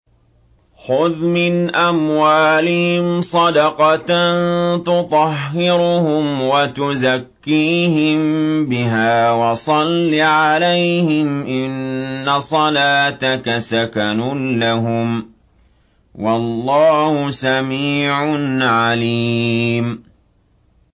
خُذْ مِنْ أَمْوَالِهِمْ صَدَقَةً تُطَهِّرُهُمْ وَتُزَكِّيهِم بِهَا وَصَلِّ عَلَيْهِمْ ۖ إِنَّ صَلَاتَكَ سَكَنٌ لَّهُمْ ۗ وَاللَّهُ سَمِيعٌ عَلِيمٌ